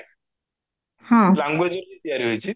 languageରେ ହିଁ ତିଆରି ହୋଇଛି